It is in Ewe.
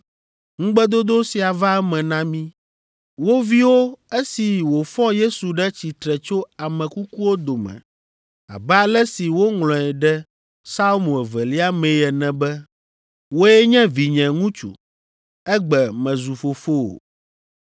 ŋugbedodo sia va eme na mí, wo viwo esi wòfɔ Yesu ɖe tsitre tso ame kukuwo dome abe ale si woŋlɔe ɖe Psalmo evelia mee ene be, “ ‘Wòe nye vinye ŋutsu, egbe mezu fofowò.’